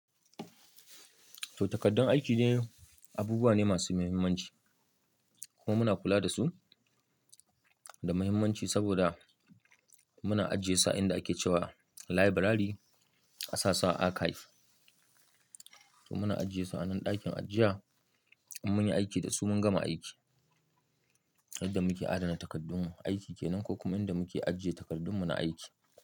To takaddun aiki de, abubuwa ne masu mahimmanci kuma muna kula da su da mahimmanci saboda muna ajiye su a inda ake cewa library, a sasu a archive. To muna ajiye su a nan ɗakin ajiya, in mun yi aiki da su mun gama aiki. Inda muke adana takardun aiki kenan ko kuma inda muke ajiye takardunmu na aiki.